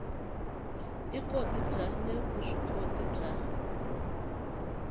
ikoti bya le vuswikoti bya